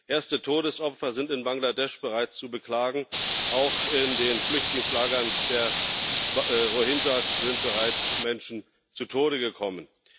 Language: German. Erste Todesopfer sind in Bangladesch bereits zu beklagen. Auch in den Flüchtlingslagern der Rohingya sind bereits Menschen zu Tode gekommen.